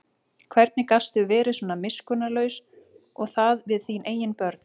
Hvernig gastu verið svona miskunnarlaus og það við þín eigin börn?